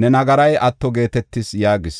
ne nagaray atto geetetis” yaagis.